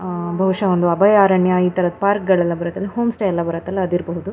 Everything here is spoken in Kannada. ಆಹ್ಹ್ ಬಹುಶ ಒಂದು ಅಭಯಾರಣ್ಯ ಈ ತರದ್ ಪಾರ್ಕ್ ಎಲ್ಲ ಬರತ್ತಲ್ಲ ಹೋಂ ಸ್ಟೇ ಎಲ್ಲ ಬರತ್ತಲ್ಲ ಅದಿರಬಹುದು.